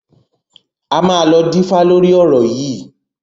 A máa lọ dífá lórí ọ̀rọ̀ yìí.